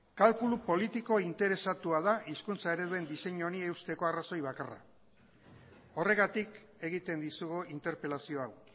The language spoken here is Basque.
kalkulu politiko interesatua da hizkuntza ereduen diseinu honi eusteko arrazoi bakarra horregatik egiten dizugu interpelazio hau